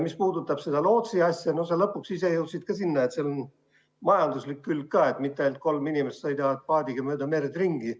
Mis puudutab seda lootsi asja, siis sa lõpuks ise jõudsid ka selleni, et probleemil on ka majanduslik külg, mitte ainult see, et kolm inimest sõidavad asjata paadiga mööda merd ringi.